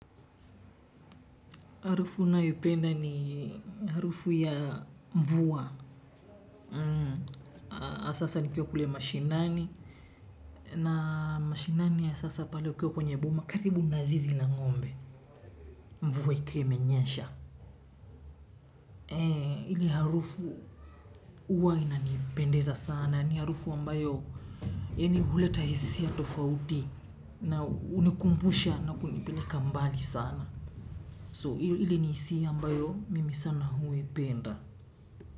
Harufu nayoipenda ni harufu ya mvua. Asasa nikiwa kule mashinani. Na mashinani ya sasa pale ukiwa kwenye boma karibu na zizi la ng'ombe. Mvua ikiwa imenyesha. Hili harufu huwa inanipendeza sana. Ni harufu ambayo. Yani huleta hisia tofauti. Na hunikumbusha na kunipeleka mbali sana. Hili ni hisia ambayo mimi sana huipenda.